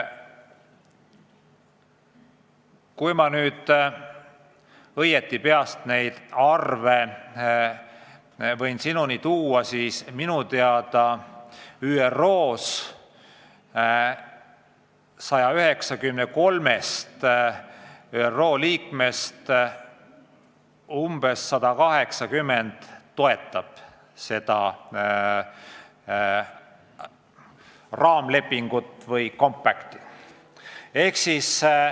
Kui ma nüüd peast õigesti ütlen, siis minu teada ÜRO 193 liikmest umbes 180 toetab seda raamlepingut ehk compact'i.